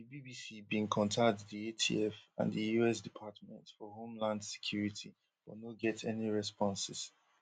di bbc bin contact di atf and the us department for homeland security but no get any responses